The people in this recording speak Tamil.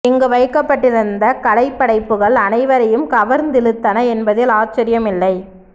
இங்கு வைக்கப்பட்டிருந்த கலைப்படைப்புகள் அனைவரையும் கவர்ந்திழுத்தன என்பதில் ஆச்சரியம் இல்லை